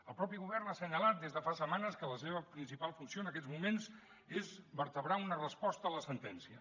el mateix govern ha assenyalat des de fa setmanes que la seva principal funció en aquests moments és vertebrar una resposta a la sentència